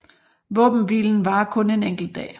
Våbenhvilen varer kun en enkelt dag